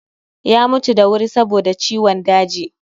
Ya mutu da wuri saboda ciwon daji